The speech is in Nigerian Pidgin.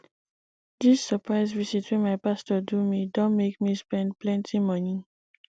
dis surprise visit wey my pastor do me don make me spend plenty moni